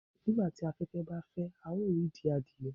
nigbati afẹfẹ ba fẹ, a yoo ri idi adie